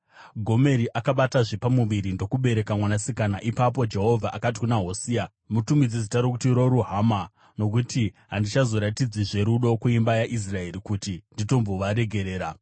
Gomeri akabatazve pamuviri ndokubereka mwanasikana. Ipapo Jehovha akati kuna Hosea, “Mutumidze zita rokuti Ro-Ruhama, nokuti handichazoratidzizve rudo kuimba yaIsraeri, kuti nditombovaregerera.